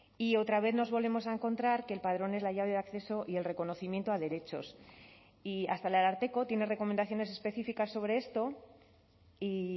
y otra vez nos volvemos a encontrar que el padrón es la llave de acceso y el reconocimiento a derechos y hasta el ararteko tiene recomendaciones específicas sobre esto y